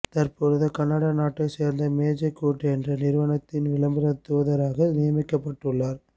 தற்பொழுது கனடா நாட்டைச் சேர்ந்த மேஜிக் உட் என்ற நிறுவனத்தின் விளம்பரத் தூதராக நியமிக்கப்பட்டுள்ளார்